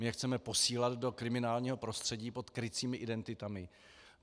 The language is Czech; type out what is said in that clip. My je chceme posílat do kriminálního prostředí pod krycími identitami.